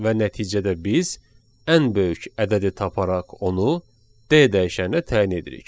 Və nəticədə biz ən böyük ədədi taparaq onu D dəyişəninə təyin edirik.